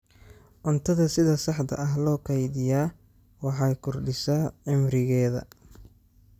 Cuntada sida saxda ah loo kaydiyaa waxay kordhisaa cimrigeeda.